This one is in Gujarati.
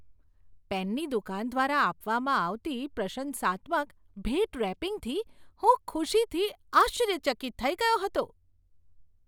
પેનની દુકાન દ્વારા આપવામાં આવતી પ્રશંસાત્મક ભેટ રેપિંગથી હું ખુશીથી આશ્ચર્યચકિત થઈ ગયો હતો.